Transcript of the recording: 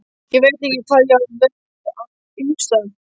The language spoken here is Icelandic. Ég veit ekki hvað ég var að hugsa.